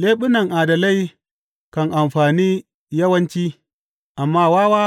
Leɓunan adalai kan amfane yawanci, amma wawa